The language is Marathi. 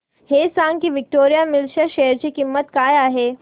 हे सांगा की विक्टोरिया मिल्स च्या शेअर ची किंमत काय आहे